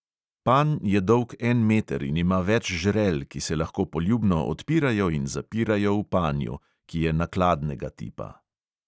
Panj je dolg en meter in ima več žrel, ki se lahko poljubno odpirajo in zapirajo v panju, ki je nakladnega tipa.